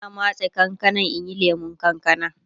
Ina matse kankanan in yi lemun kankana